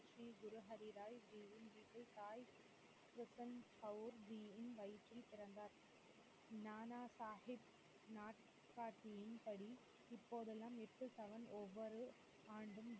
ஸ்ரீ குரு ஹரி ராய் ஜியின் வீட்டில் சாய் க்ரிஷன் கவுர் ஜியின் வயிற்றில் பிறந்தார், நானாசாஹிப் நாட்காட்டியின் படி இப்போதெல்லாம் ஒவ்வொரு ஆண்டும்